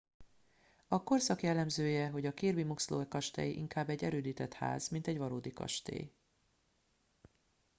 a korszak jellemzője hogy a kirby muxloe kastély inkább egy erődített ház mint egy valódi kastély